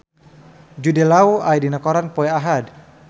Jude Law aya dina koran poe Ahad